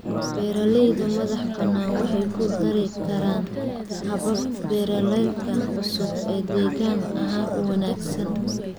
Beeralayda madaxa banaan waxay ku dari karaan habab beereedka cusub oo deegaan ahaan u wanaagsan.